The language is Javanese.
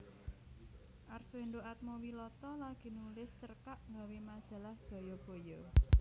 Arswendo Atmowiloto lagi nulis cerkak gawe majalah Jayabaya